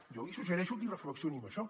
jo li suggereixo que hi reflexioni en això